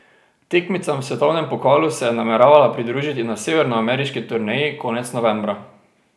Tekmicam v svetovnem pokalu se je nameravala pridružiti na severnoameriški turneji konec novembra.